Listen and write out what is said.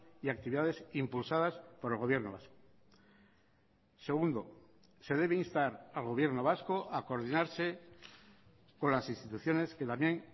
y actividades impulsadas por el gobierno vasco segundo se debe instar al gobierno vasco a coordinarse con las instituciones que también